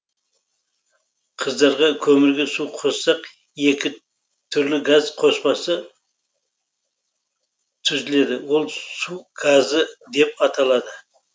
қыздырған көмірге су қоссақ екі түрлі газ қоспасы түзіледі ол су газы деп аталады